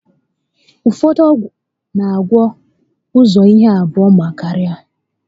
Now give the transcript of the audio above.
Ọgwụ ụfọdụ n'agwọ ụzọ ihe naabọ ma karịa